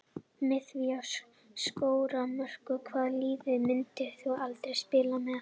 Með því að skora mörk Hvaða liði myndir þú aldrei spila með?